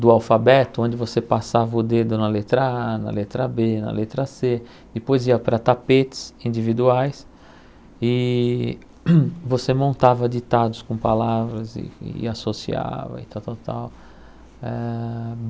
do alfabeto, onde você passava o dedo na letra á, na letra bê, na letra cê. Depois ia para tapetes individuais e você montava ditados com palavras e e associava e tal, tal, tal. Eh